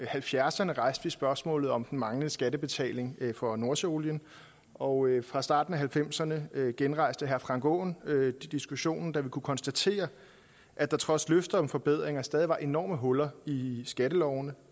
halvfjerdserne rejste vi spørgsmålet om den manglende skattebetaling for nordsøolien og fra starten af nitten halvfemserne genrejste herre frank aaen diskussionen da vi kunne konstatere at der trods løfter om forbedringer stadig var enorme huller i skattelovene